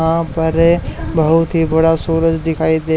यहां पर बहुत ही बड़ा सूरज दिखाई दे--